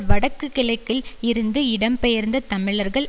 வடக்கு கிழக்கில் இருந்து இடம்பெயர்ந்த தமிழர்கள்